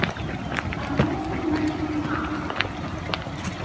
Að lokum merkir hún að?